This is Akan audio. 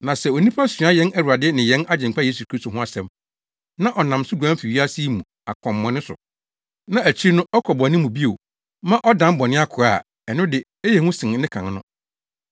Na sɛ onipa sua yɛn Awurade ne yɛn Agyenkwa Yesu Kristo ho asɛm, na ɔnam so guan fi wiase yi mu akwammɔne so, na akyiri no ɔkɔ bɔne mu bio ma ɔdan bɔne akoa a, ɛno de ɛyɛ hu sen ne kan no.